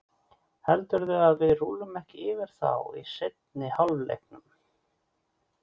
Heldurðu að við rúllum ekki yfir þá í seinni hálfleiknum?